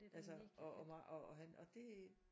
Altså og mange og og han og det